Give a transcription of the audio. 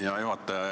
Hea juhataja!